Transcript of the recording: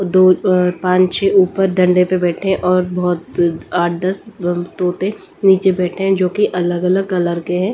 दो अ पांच छह ऊपर डंडे पे बैठे हैं और बहुत आठ दस तोते नीचे बैठे हैं जो कि अलग-अलग कलर के हैं।